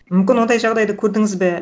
мүмкін ондай жағдайды көрдіңіз бе